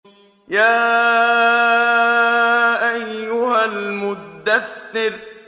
يَا أَيُّهَا الْمُدَّثِّرُ